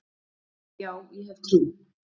Já, ég hef trú.